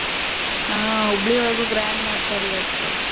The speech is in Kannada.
ಹಾ ಹುಬ್ಳಿಯೊಳಗು grand ಮಾಡ್ತಾರ ಇವತ್ತ.